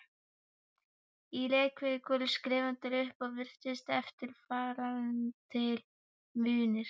Í Reykjavík voru skrifaðir upp og virtir eftirtaldir munir